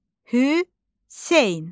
Hüseyn.